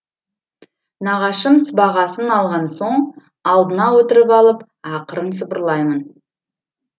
нағашым сыбағасын алған соң алдына отырып алып ақырын сыбырлаймын